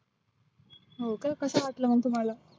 हो का कसा वाटला मग तुम्हाला?